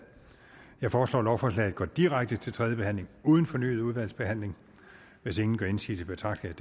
jeg foreslår at lovforslaget går direkte til tredje behandling uden fornyet udvalgsbehandling hvis ingen gør indsigelse betragter jeg